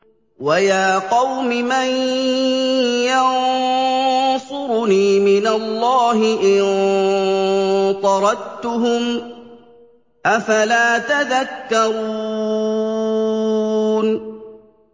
وَيَا قَوْمِ مَن يَنصُرُنِي مِنَ اللَّهِ إِن طَرَدتُّهُمْ ۚ أَفَلَا تَذَكَّرُونَ